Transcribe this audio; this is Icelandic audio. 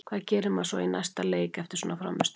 Hvað gerir maður svo í næsta leik eftir svona frammistöðu?